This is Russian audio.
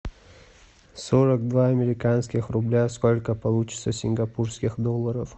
сорок два американских рубля сколько получится сингапурских долларов